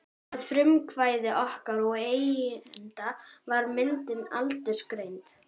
Að frumkvæði okkar og eigenda var myndin aldursgreind.